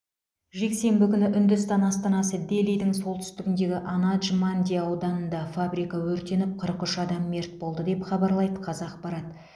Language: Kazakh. жексенбі күні үндістан астанасы делидің солтүстігіндегі анадж манди ауданында фабрика өртеніп қырық үш адам мерт болды деп хабарлайды қазақпарат